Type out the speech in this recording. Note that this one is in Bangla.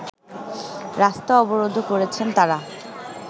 রাস্তা অবরোধও করেছেন তারা